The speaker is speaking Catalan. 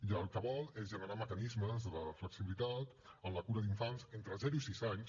i el que vol és generar mecanismes de flexibilitat en la cura d’infants entre zero i sis anys